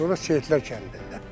Sonra Seyidlər kəndi deyirlər.